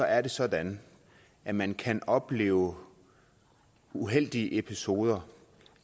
er det sådan at man kan opleve uheldige episoder